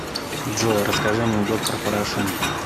джой расскажи анекдот про порошенко